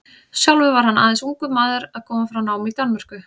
Sjálfur var hann aðeins ungur maður að koma frá námi í Danmörku.